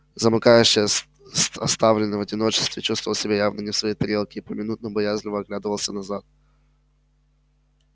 замыкающий с с оставленный в одиночестве чувствовал себя явно не в своей тарелке и поминутно боязливо оглядывался назад